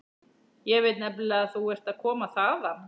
Ég veit nefnilega að þú ert að koma þaðan.